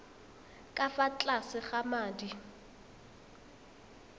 ka fa tlase ga madi